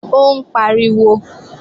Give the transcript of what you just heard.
Ó ń pariwo